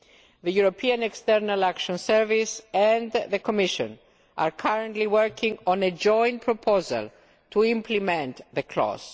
The European External Action Service and the Commission are currently working on a joint proposal to implement the clause.